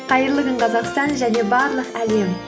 қайырлы күн қазақстан және барлық әлем